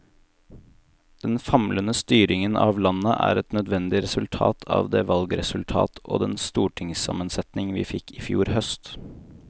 Den famlende styringen av landet er et nødvendig resultat av det valgresultat og den stortingssammensetning vi fikk i fjor høst.